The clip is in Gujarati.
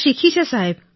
શીખી છે સાહેબ